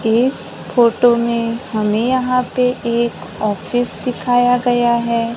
इस फोटो में हमें यहां पे एक ऑफिस दिखाया गया है।